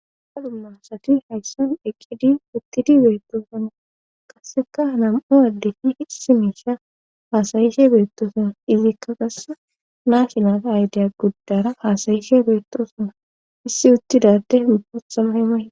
ha dummasati hayssan eqqidi uttidi beettoosana kasseka nam7u addetii hissi miisha haasayishe beettoosana izikka qasse naashinaa aydeya guddara haasayishe beettosana issi uttidadde bootha mayo may